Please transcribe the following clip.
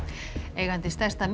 eigandi stærsta